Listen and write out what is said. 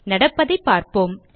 நடப்பதை பார்ப்போம்